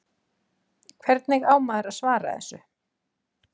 Hvernig á maður að svara þessu?